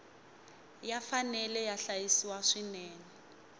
ya fanele ya hlayisiwa swinene